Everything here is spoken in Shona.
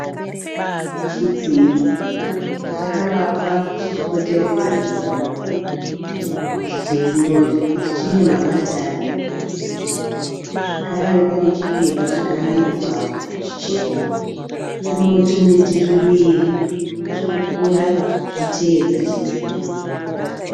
Chidziro chakavakwa chichipoteredza imba, chidziro ichi chine mapatani zvekare panechipepa chakanamirwapo chichena. Panewo tumiti twuviri twurikukura tuchiteedza chidziro.